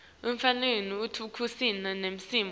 afanele itheksthi imisho